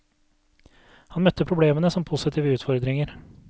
Han møtte problemene som positive utfordringer.